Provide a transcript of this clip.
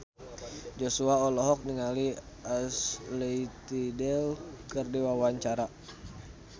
Joshua olohok ningali Ashley Tisdale keur diwawancara